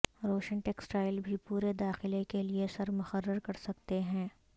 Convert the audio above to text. روشن ٹیکسٹائل بھی پورے داخلہ کے لئے سر مقرر کر سکتے ہیں